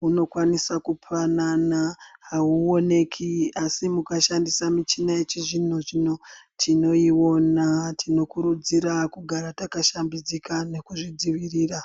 hunokwanisa kupanana, hauonekwi asi mukashandisa michina yechizvino-zvino tinoiona. Tinokurudzirwa kugara takashambidzika nekuzvidzivirira.